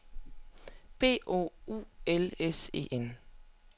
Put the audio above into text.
P O U L S E N